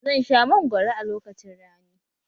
Zan sha mangwaro a lokacin rani